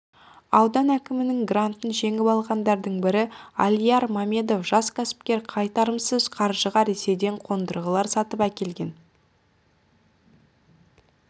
аудан әкімінің грантын жеңіп алғандардың бірі алияр мамедов жас кәсіпкер қайтарымсыз қаржыға ресейден қондырғылар сатып әкелген